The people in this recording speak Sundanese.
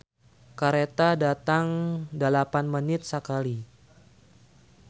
"Kareta datang dalapan menit sakali"